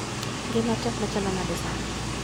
Ngima tek machalo nade sani